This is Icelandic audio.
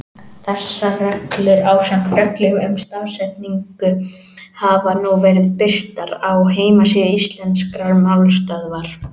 Þessar reglur, ásamt reglum um stafsetningu, hafa nú verið birtar á heimasíðu Íslenskrar málstöðvar.